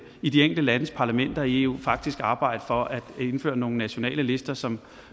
i de enkelte landes parlamenter i eu faktisk arbejde for at indføre nogle nationale lister som